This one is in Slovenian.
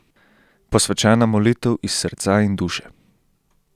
Posvečena molitev iz srca in duše.